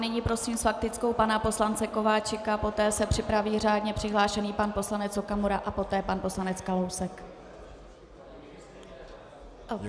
Nyní prosím s faktickou pana poslance Kováčika, poté se připraví řádně přihlášený pan poslanec Okamura a poté pan poslanec Kalousek.